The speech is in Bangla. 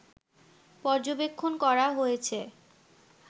পর্যবেক্ষণ করা হয়েছে